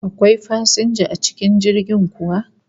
Akwai fasinja a cikin jirgin kuwa?